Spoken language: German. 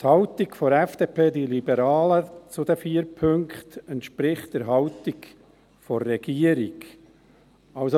Die Haltung der FDP, die Liberalen, zu den vier Punkten entspricht der Haltung des Regierungsrates.